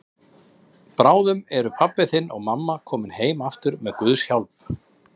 Bráðum eru pabbi þinn og mamma komin heim aftur með Guðs hjálp.